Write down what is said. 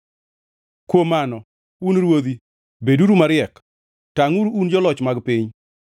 Kuom mano, un ruodhi, beduru mariek; tangʼuru un joloch mag piny.